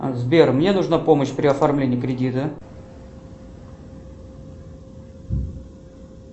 сбер мне нужна помощь при оформлении кредита